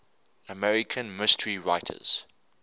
american mystery writers